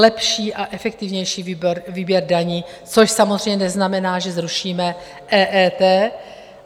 Lepší a efektivnější výběr daní, což samozřejmě neznamená, že zruším EET.